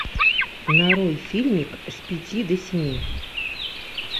нарой фильмик с пяти до семи